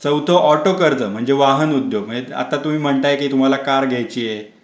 चौथा ऑटो कर्ज म्हणजे वाहन उद्योग माहिती आता तुम्ही म्हणताय की तुम्हाला कार घ्यायची आहे.